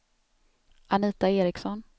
Anita Eriksson